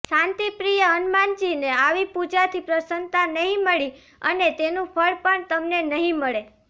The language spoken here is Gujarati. શાંતિપ્રિય હનુમાનજીને આવી પૂજાથી પ્રસન્નતા નહીં મળી અને તેનું ફળ પણ તમને નહીં મળે